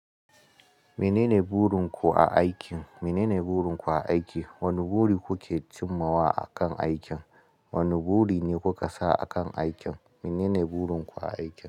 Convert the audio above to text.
Menene burin ku a aikin? Menene burin ku a aiki? Wane buri kuke cimma wa akan aikin? Wane buri ne kuka sa a kan aikin? Menene burin ku a aikin?